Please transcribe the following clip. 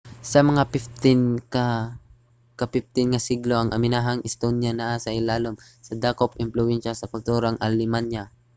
sa mga ika-15 nga siglo ang amihanang estonia naa sa ilalum sa dakong impluwensya sa kultura sa alemanya